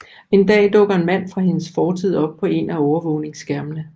En dag dukker en mand fra hendes fortid op på en af overvågningsskærmene